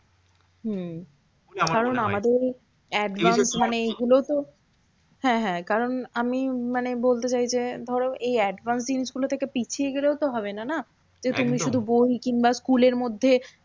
হম কারণ আমাদের advance মানে এইগুলো তো হ্যাঁ হ্যাঁ কারণ আমি মানে বলতে চাই যে, এই advance জিনিসগুলো থেকে পিছিয়ে গেলেও তো হবেনা না? তুমি শুধু বই কিংবা school এর মধ্যে